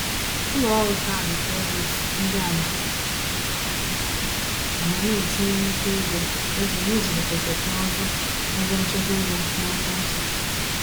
Ụlọọrụ kaadị kredit ndị a ma ama na-etinye nnukwu ego ego n’ịzụlite teknụzụ ebenchekwaego n’ekwentị.